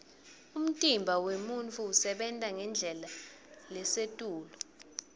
umtimba wemuntfu usebenta ngendlela lesetulu